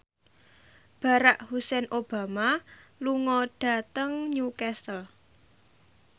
Barack Hussein Obama lunga dhateng Newcastle